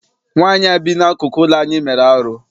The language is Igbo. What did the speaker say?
Nwaanyị a bi n'akụkụ ụlọ anyị mere arụ.